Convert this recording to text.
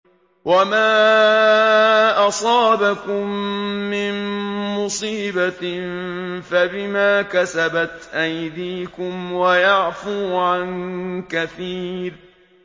وَمَا أَصَابَكُم مِّن مُّصِيبَةٍ فَبِمَا كَسَبَتْ أَيْدِيكُمْ وَيَعْفُو عَن كَثِيرٍ